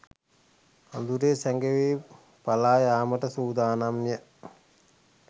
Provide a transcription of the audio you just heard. අඳුරේ සැඟවී පලා යාමට සූදානම්ය.